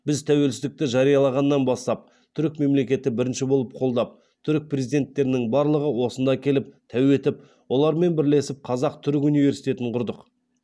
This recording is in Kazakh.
біз тәуелсіздікті жариялағаннан бастап түрік мемлекеті бірінші болып қолдап түрік президенттерінің барлығы осында келіп тәу етіп олармен бірлесіп қазақ түрік университетін құрдық